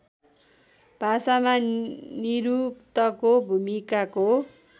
भाषामा निरुक्तको भूमिकाको